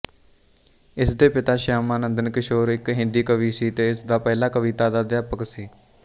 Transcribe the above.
ਇਸਦੇ ਪਿਤਾ ਸ਼ਿਆਮਾਨੰਦਨ ਕਿਸ਼ੋਰ ਇੱਕ ਹਿੰਦੀ ਕਵੀ ਸੀ ਅਤੇ ਇਸਦਾ ਪਹਿਲਾ ਕਵਿਤਾ ਦਾ ਅਧਿਆਪਿਕ ਸੀ